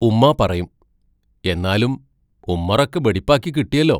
ഉമ്മാ പറയും: എന്നാലും ഉമ്മറൊക്കെ ബെടിപ്പാക്കി കിട്ടിയല്ലോ.